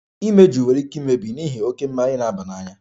Imeju nwere ike imebi n'ihi oke mmanya na-aba n'anya